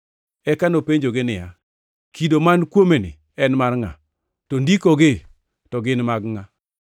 eka nopenjogi niya, “Kido man kuomeni en mar ngʼa? To ndikogi to gin mag ngʼa?”